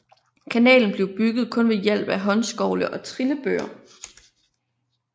Kanalen blev bygget kun ved hjælp af håndskovle og trillebøre